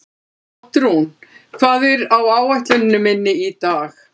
Oddrún, hvað er á áætluninni minni í dag?